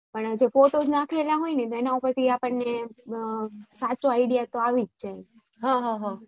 પણ જો photo નાખેલા હોય ને સાચી idea તો આવીજ જાય